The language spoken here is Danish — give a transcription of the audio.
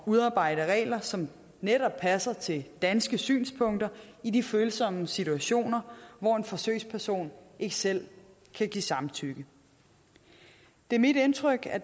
udarbejde regler som netop passer til danske synspunkter i de følsomme situationer hvor en forsøgsperson ikke selv kan give samtykke det er mit indtryk at